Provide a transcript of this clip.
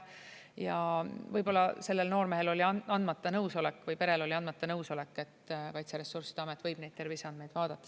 Võib-olla sellel noormehel oli andmata nõusolek või perel oli andmata nõusolek, et Kaitseressursside Amet võib neid terviseandmeid vaadata.